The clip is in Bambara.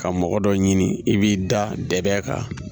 Ka mɔgɔ dɔ ɲini i b'i da dɛ kan